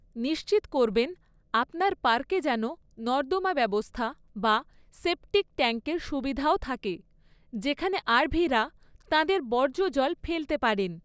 নিশ্চিত করবেন আপনার পার্কে যেন নর্দমা ব্যবস্থা বা সেপটিক ট্যাঙ্কের সুবিধাও থাকে, যেখানে আরভিরা তাঁদের বর্জ্য জল ফেলতে পারেন।